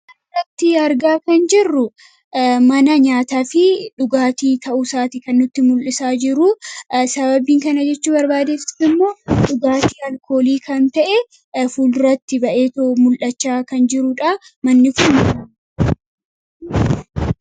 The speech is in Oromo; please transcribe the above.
Asirratti argaa kan jirru mana nyaataa fi dhugaatii ta'uusaati kan nutti mul'isaa jiruu. Sababiin kana jechuu barbaadeef immoo dhugaatii alkoolii kan ta'e fuulduratti ba'eetoo mul'achaa kan jiruu dhaa. Manni kun....